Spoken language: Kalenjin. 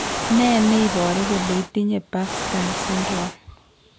Ne ne iporu kole itinye Bangstad syndrome?